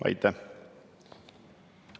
Aitäh!